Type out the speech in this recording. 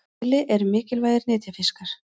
síli eru mikilvægir nytjafiskar